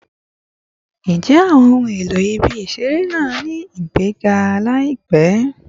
Njẹ awọn ohun elo ibi-iṣere naa ni igbega laipe?